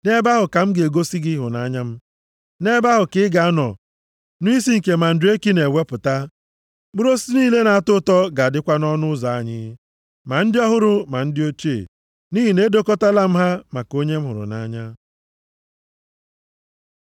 Nʼebe ahụ ka ị ga-anọ nụ isi nke mandreki + 7:13 Dịka ndị mmadụ na-ekwu, mandreki na-eweta mkpali ọchịchọ mmekọrịta nʼahụ mmadụ, na-emekwa ka nwanyị tara ya tụrụ ime. \+xt Jen 30:14\+xt* na-ewepụta; mkpụrụ osisi niile na-atọ ụtọ ga-adịkwa nʼọnụ ụzọ anyị, ma ndị ọhụrụ ma ndị ochie, nʼihi na edokọtaala m ha maka onye m hụrụ nʼanya.